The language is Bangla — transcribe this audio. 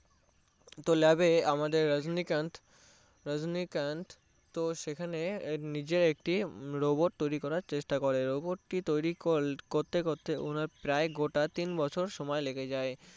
তো Lab এ আমাদের রাজনীকান্থ রাজনীকান্থ তো সেখানে নিজের একটি Robot বানানোর চেষ্টা করে Robot টি তৈরি করতে করতে প্রায় ওনার গোটা তিন বছর সময় লেগে যায়